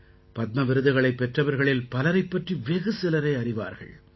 பத்ம விருதுகளைப் பெற்றவர்களில் பலரைப் பற்றி வெகு சிலரே அறிவார்கள்